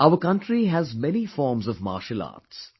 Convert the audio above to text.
Our country has many forms of martial arts